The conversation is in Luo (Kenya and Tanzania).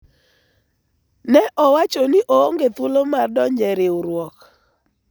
ne owacho ni oonge thuolo mar donjo e riwruok